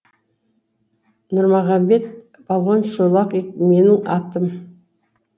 нұрмұғамбет балуан шолақ менің атым